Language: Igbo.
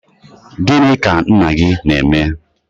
gịnị ka nna gị na-eme?